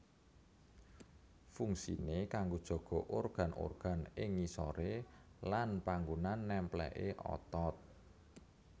Fungsine kanggo jaga organ organ ing ngisore lan panggonan nempléké otot